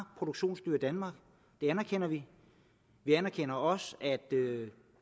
produktionsdyr i danmark det anerkender vi vi anerkender også at